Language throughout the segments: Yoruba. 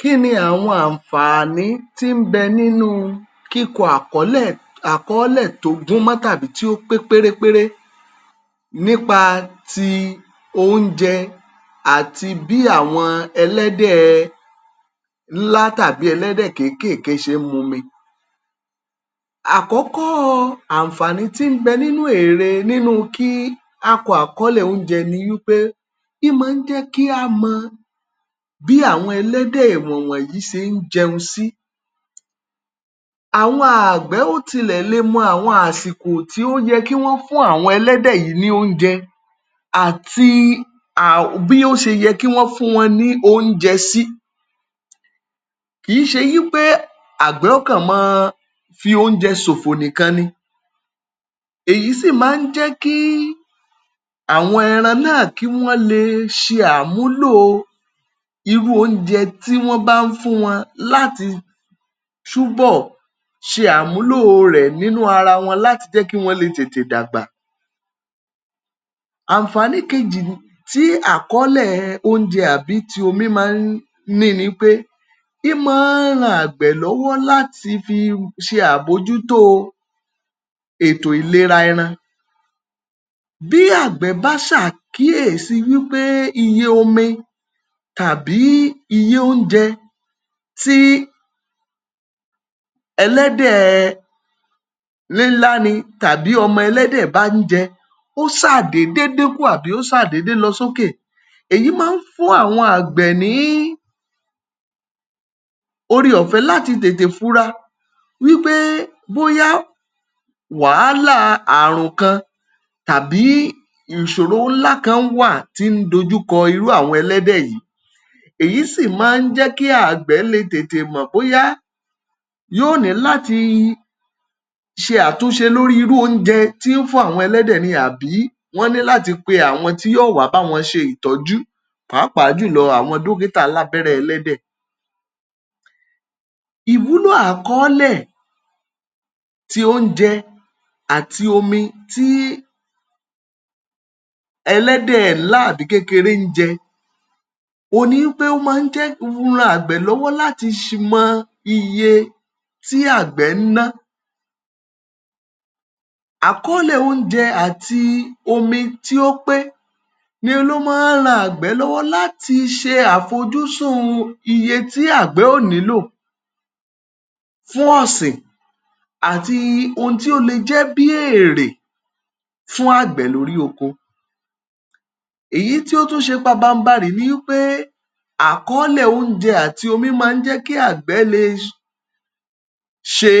Kíni àwọn àǹfàní tí ń bẹ nínú kíkọ àkọ́lẹ̀ àkọọ́lẹ̀ tó gún mọ́ tàbí tí ó pé pérépéré nípa ti oúnjẹ àti bí àwọn ẹlẹ́dẹ̀ ńlá tàbí ẹlẹ́dẹ̀ kéékèèkéé ṣe ń mumi? Àkọ́kọ́ àǹfàní tí ń bẹ nínú ère, nínú kí á kọ àkọọ́lẹ̀ oúnjẹ ni wípé í máa ń jẹ́ kí á mọ bí àwọn ẹlẹ́dẹ̀ wọ̀nwọ̀nyí ṣe ń jẹun sí. Àwọn àgbẹ̀ ó tilẹ̀ le mọ àwọn àsìkò tó yẹ kí wọ́n fún àwọn ẹlẹ́dẹ̀ yí ní oúnjẹ, àti um bí ó ṣe yẹ kí wọ́n fún wọn ní oúnjẹ sí. Kì í ṣe wípé àgbẹ̀ ó kán máa fi oúnjẹ ṣòfò nìkan ni, èyí sì máa ń jẹ́ kí àwọn ẹran náà kí wọ́n le ṣe àmúlò irú oúnjẹ tí wọ́n bá ń fún wọn láti túbọ̀ sẹ àmúlò rẹ̀ nínú ara wọn láti jẹ́ kí wọ́n lè tètè dàgbà. Àǹfàní kejì um tí àkọọ́lẹ̀ oúnjẹ tàbí omi máa ń ní ni pé, í máa ń ran àgbẹ̀ lọ́wọ́ láti fi ṣe àbojútó ètò ìlera ẹran, bí àgbẹ̀ bá ṣàkíyèsí wípé iye omi tàbí iye oúnjẹ tí ẹlẹ́dẹ̀ nílá ni tàbí ọmọ ẹlẹ́dẹ̀ bá ń jẹ, ó ṣáà dédé dínkù, àbí ó ṣáà dédé lọ sókè, èyí máa fún àwọn àgbẹ̀ ní ore-ọ̀fẹ́ láti tètè funra wípé bóyá wàhálà àrùn kan tàbí ìṣoro ńlá kan wà tí ń dojúkọ irú àwọn ẹlẹ́dẹ̀ yìí, èyí sì máa ń jẹ́ kí àgbẹ̀ lè tètè mọ̀ bóyá yóò ní láti sẹ àtúnsẹ lórí irú oúnjẹ tí ń fún àwọn ẹlẹ́dẹ̀ ni àbí wọ́n ní láti pe àwọn tí yóò wá bá wọ́n ṣe ìtọ́jú, pàápàá jùlọ àwọn dókítà alábẹ́rẹ́ ẹlẹ́dẹ̀. Ìwúlò àkọọ́lẹ̀ ti oúnjẹ àti omi tí ẹlẹ́dẹ̀ ńlá àbí kékeré ń jẹ, òun nipé ó máa ń jẹ́, ran àgbẹ̀ lọ́wọ́ láti um mọ iye tí àgbẹ̀ ń ná, àkọọ́lẹ̀ oúnjẹ àti omi tí ó pé n ló máa ń ran àgbẹ̀ lọ́wọ́ láti ṣe àfojúsùn iye tí àgbẹ̀ ó nílò fún ọ̀sìn àti ohun tí ó lè jẹ́ bí èrè fún àgbẹ̀ lórí oko. Èyí tí ó tún ṣe pabanbarì ni wípé àkọọ́lẹ̀ oúnje áti omi máa ń jẹ́ kí àgbẹ̀ lè um ṣe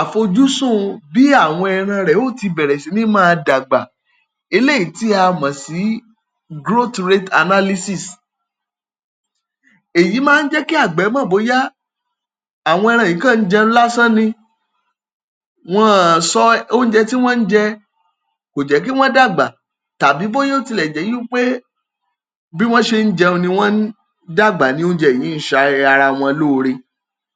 àfojúsùn bí àwọn ẹran rẹ̀ ó ti bẹ̀rẹ̀ sí ní máa dàgbà, eléyìí tí à mọ̀ sí growth rate analysis, èyí máa ń jẹ́ kí àgbẹ̀ mọ̀ bóyá àwọn ẹran yìí kàn ń jẹun lásán ni wọn ò sọ ounje ti won n je ko je ki won dagba, tàbí boya ó tilẹ̀ jẹ́ wipé bí wọ́n ṣe ń jẹun ni wọ́n ń dàgbà, ní oúnjẹ yìí ń um ṣara wọn lóore.